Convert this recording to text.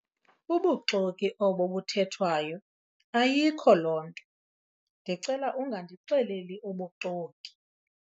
Bubuxoki obo buthethwayo ayikho loo nto. ndicela ungandixeleli ubuxoki